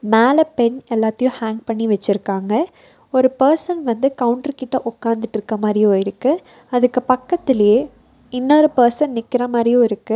மேல பென் எல்லாத்தையு ஹேங் பண்ணி வெச்சுருக்காங்க ஒரு பர்சன் வந்து கவுன்டர் கிட்ட உக்காந்துட்ருக்க மாரியு இருக்கு அதுக்கு பக்கத்துலயே இன்னொரு பர்சன் நிக்கிற மாரியு இருக்கு.